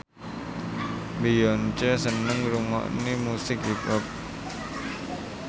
Beyonce seneng ngrungokne musik hip hop